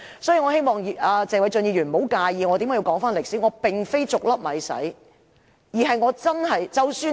所以，我希望謝偉俊議員不要介意我回顧歷史，我並非"逐粒米洗"，而是我真的......